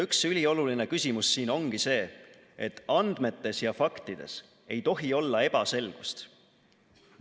Üks ülioluline küsimus siin ongi see, et andmetes ja faktides ei tohi olla ebaselgust.